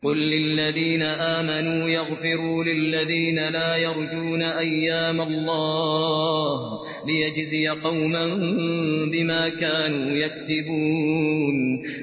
قُل لِّلَّذِينَ آمَنُوا يَغْفِرُوا لِلَّذِينَ لَا يَرْجُونَ أَيَّامَ اللَّهِ لِيَجْزِيَ قَوْمًا بِمَا كَانُوا يَكْسِبُونَ